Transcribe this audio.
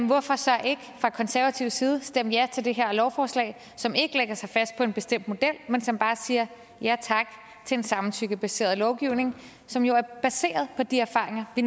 hvorfor så ikke fra konservativ side stemme ja til det her lovforslag som ikke lægger sig fast på en bestemt model men som bare siger ja tak til en samtykkebaseret lovgivning som jo er baseret på de erfaringer vi